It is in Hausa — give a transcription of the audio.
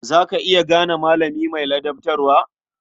Za ka iya gane malami mai ladabtarwa?